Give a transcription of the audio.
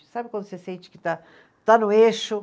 Sabe quando você sente que está, está no eixo?